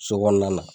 So kɔnɔna na